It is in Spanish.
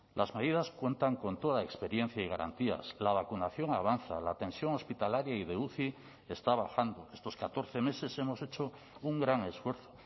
las medidas cuentan con toda experiencia y garantías la vacunación avanza la tensión hospitalaria y de uci está bajando estos catorce meses hemos hecho un gran esfuerzo